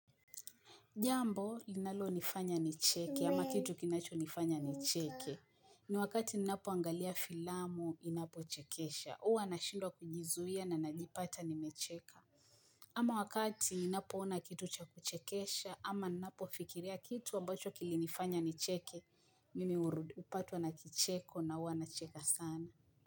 Jambo linalonifanya nicheke ama kitu kinachonifanya nicheke ni wakati ninapoangalia filamu inapochekesha huwa nashindwa kujizuia na najipata nimecheka ama wakati ninapoona kitu cha kuchekesha ama ninapofikiria kitu ambacho kilinifanya nicheke mimi hupatwa na kicheko na huwa nacheka sana.